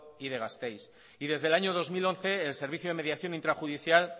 y de gasteiz y desde el año dos mil once el servicio de mediación intrajudicial